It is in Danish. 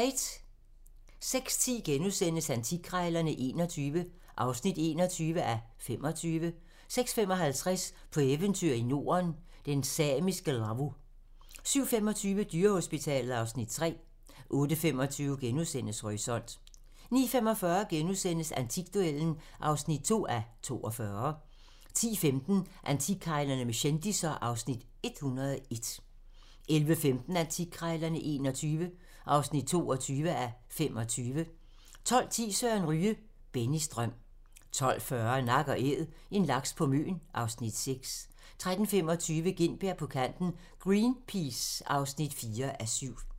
06:10: Antikkrejlerne XXI (21:25)* 06:55: På eventyr i Norden - den samiske Lavvu 07:25: Dyrehospitalet (Afs. 3) 08:25: Horisont * 09:45: Antikduellen (2:42)* 10:15: Antikkrejlerne med kendisser (Afs. 101) 11:15: Antikkrejlerne XXI (22:25) 12:10: Søren Ryge - Bennys drøm 12:40: Nak & Æd - en laks på Møn (Afs. 6) 13:25: Gintberg på kanten – Greenpeace (4:7)